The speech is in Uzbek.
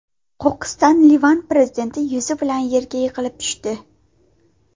Qo‘qqisdan Livan prezidenti yuzi bilan yerga yiqilib tushdi.